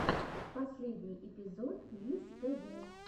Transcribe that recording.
последний эпизод лизз тв